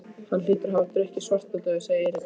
Hann hlýtur að hafa drukkið Svartadauða, sagði Eiríkur.